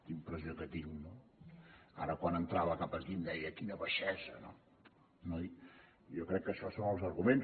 la impressió que tinc no ara quan entrava cap aquí em deia quina baixesa no noi jo crec que això són els arguments